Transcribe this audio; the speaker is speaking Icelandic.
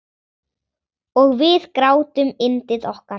Og við grátum yndið okkar.